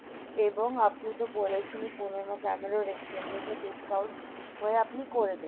এবং আপনি তো বলেছেনি পুরোন ক্যামেরা exchange এর discount হয়ে আপনি করে দেবেন